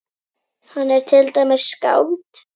Hann er til dæmis skáld.